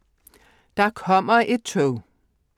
Der kommer tog…